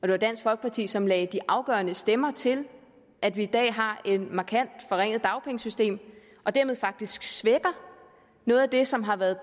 det var dansk folkeparti som lagde de afgørende stemmer til at vi i dag har et markant forringet dagpengesystem og dermed faktisk svækker noget af det som har været